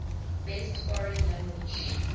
best foreign language